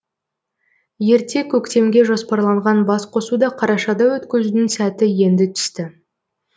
ерте көктемге жоспарланған басқосуды қарашада өткізудің сәті енді түсті